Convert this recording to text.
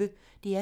DR P1